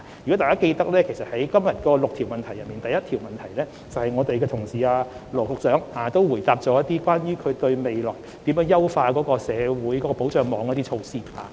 如果大家記得，在今天的6項口頭質詢中，羅局長在第一項質詢時，便列舉未來如何優化社會保障網的一系列措施。